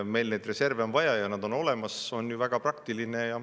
Meil on neid reserve vaja ja see, et nad on olemas, on ju väga praktiline.